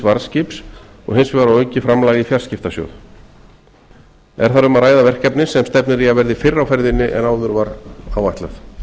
varðskips og hins vegar á aukið framlag í fjarskiptasjóð er þar um að ræða verkefni sem stefnir í að verði fyrr á ferðinni en áður var áætlað